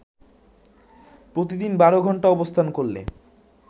প্রতিদিন বারো ঘন্টা অবস্থান করলে